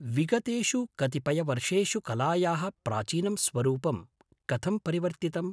विगतेषु कतिपयवर्षेषु कलायाः प्राचीनं स्वरूपं कथं परिवर्तितम्?